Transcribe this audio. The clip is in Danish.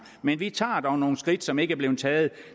men vi tager dog nogle skridt som ikke er blevet taget